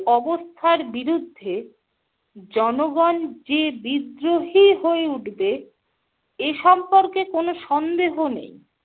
অবস্থার বিরুদ্ধে জনগণ যে বিদ্রোহী হয়ে উঠবে এ সম্পর্কে কোনো সন্দেহ নেই।